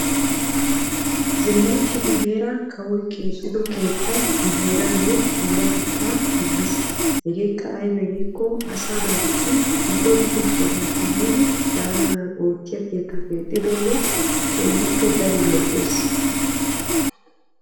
zilaytti nu heeran kawoy keexxido keettay nu heeraayo puulatettaa immis. hegeekka aybee giikko asaa naatussi dumma dumma sohuwappe yiidi daanaadan oottiya keettaa keexxidoogee keehippe daro lo'ees.